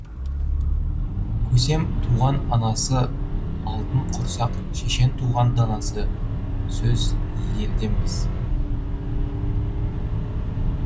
көсем туған анасы алтын құрсақ шешен туған данасы сөз елденбіз